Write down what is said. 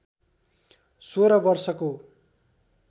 सोह्र वर्षको